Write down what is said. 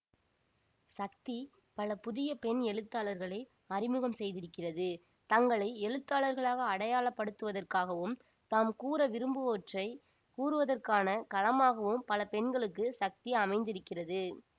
சக்தி பல புதிய பெண் எழுத்தாளர்களை அறிமுகம் செய்திருக்கிறது தங்களை எழுத்தாளர்களாக அடையாளப்படுத்துவதற்காகவும் தாம் கூற விரும்புவற்றை கூறுவதற்கான களமாகவும் பல பெண்களுக்கு சக்தி அமைந்திருக்கிறது